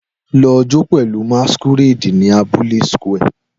Lọ jó pẹ̀lú masquerade ní abúlé square